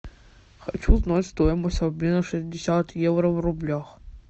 хочу узнать стоимость обмена шестьдесят евро в рублях